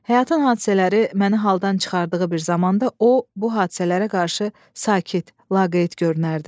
Həyatın hadisələri məni haldan çıxardığı bir zamanda o, bu hadisələrə qarşı sakit, laqeyd görünərdi.